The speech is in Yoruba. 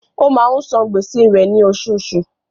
Ó máa ń san gbèsè rẹ̀ ní oṣooṣù.